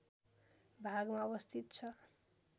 भागमा अवस्थित छ